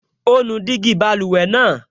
Ó nu gíjí báluwẹ̀ náà